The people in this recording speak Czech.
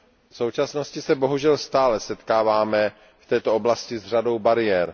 V současnosti se bohužel stále setkáváme v této oblasti s řadou bariér.